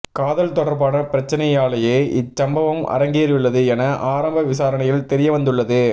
காதல் தொடர்பான பிரச்சினையாலேயே இச்சம்பவம் அரங்கேறியுள்ளது என ஆரம்ப விசாரணையில் தெரியவந்துள்ளது